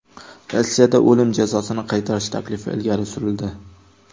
Rossiyada o‘lim jazosini qaytarish taklifi ilgari surildi.